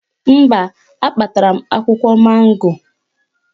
Mba, akpatara m akwụkwọ mango